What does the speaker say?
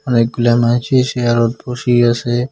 অনেকগুলা মাইনষে চেয়ারে বসি আছে।